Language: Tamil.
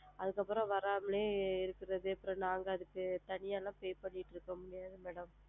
அதுக்கு அப்பறம் வராமலே இருக்குறது அப்பறம் நாங்க அதுக்கு தனியாலா pay பண்ணிட்டு இருக்க முடியாதுங்க madam.